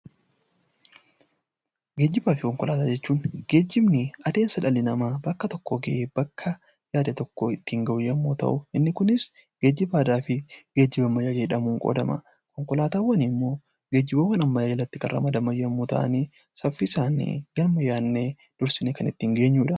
Geejjiba jechuun adeemsa dhalli namaa bakka tokkoo ka'ee bakka yaade tokko ittiin gahu yommuu ta'u, inni Kunis geejjiba aadaa fi geejjiba ammayyaa jedhamuun qoodama. Konkolaataawwan immoo geejjiba ammayyaa jalatti kan ramadaman yommuu ta'an, saffisaan bakka yaadne dafnee kan ittiin geenyudha.